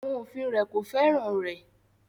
Àwọn òfin rẹ̀ kò fẹ́ràn rẹ̀